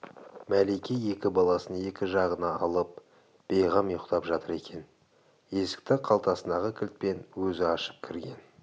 мәлике екі баласын екі жағына алып бейғам ұйықтап жатыр екен есікті қалтасындағы кілтпен өзі ашып кірген